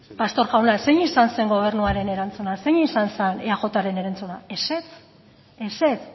pastor jauna zein izan zen gobernuaren erantzuna zein izan zen eajren erantzuna ezetz ezetz